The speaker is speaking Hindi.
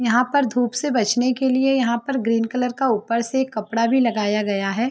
यहाँ पर धूप से बचने के लिए यहाँ पर ग्रीन कलर का ऊपर से एक कपड़ा भी लगाया गया है ।